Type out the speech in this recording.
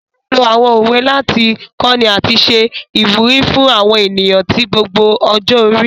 A n lo àwọn òwe láti kọni àti ṣe ìwúrí fún àwọn ènìyàn ti gbogbo ọjọ́-orí.